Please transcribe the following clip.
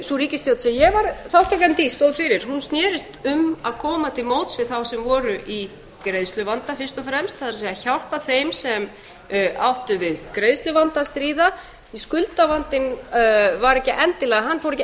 sú ríkisstjórn sem ég var þátttakandi í stóð fyrir snerist um að koma til móts við þá sem voru í greiðsluvanda fyrst og fremst það er að hjálpa þeim sem áttu við greiðsluvanda að stríða því að skuldavandinn fór ekki